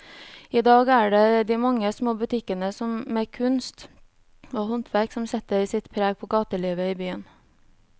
I dag er det de mange små butikkene med kunst og håndverk som setter sitt preg på gatelivet i byen.